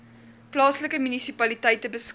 plaaslike munisipaliteite beskik